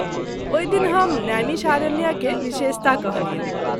ओहि दिन हम "नैमिषारण्य” के विशेषता कहलियनि।